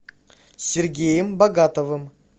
сергеем богатовым